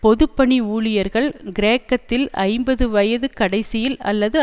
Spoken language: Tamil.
பொது பணி ஊழியர்கள் கிரேக்கத்தில் ஐம்பது வயதுக் கடைசியில் அல்லது